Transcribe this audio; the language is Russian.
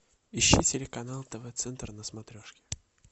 ищи телеканал тв центр на смотрешке